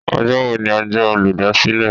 Ọjọ́ wo ni ọjọ́ olúdásílè?